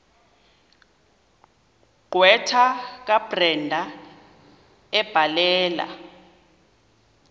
gqwetha kabrenda ebhalela